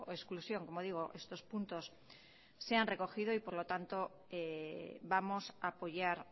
exclusión como digo estos puntos se han recogido y por lo tanto vamos a apoyar